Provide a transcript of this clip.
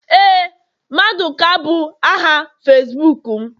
Éè maduka bu aha Facibuku m